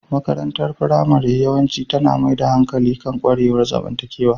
Makarantar firamare yawanci tana mai da hankali kan ƙwarewar zamantakewa.